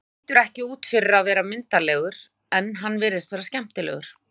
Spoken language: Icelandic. Og hann lítur ekki út fyrir að vera myndarlegur en hann virðist vera skemmtilegur.